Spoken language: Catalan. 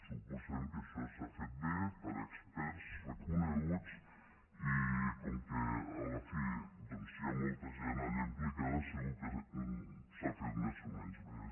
suposem que això s’ha fet bé per experts reconeguts i com que a la fi doncs hi ha molta gent allà implicada segur que s’ha fet més o menys bé